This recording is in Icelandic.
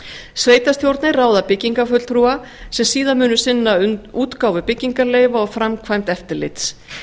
sveitarstjórnir ráða byggingarfulltrúa sem síðan munu sinna útgáfu byggingarleyfa og framkvæmd eftirlits